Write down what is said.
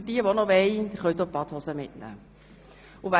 Für diejenigen, die das möchten: Sie können auch die Badehose mitnehmen.